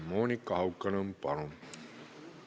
Monika Haukanõmm, palun!